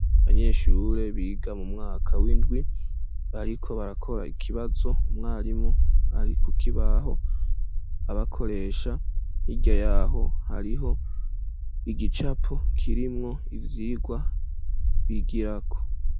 Abanyeshure biga mu mwaka w'indwi bariko barakora ikibazo umwarimu ari kukibaho abakoresha hirya yaho hariho igicapo kirimwo ivyigwa bigirako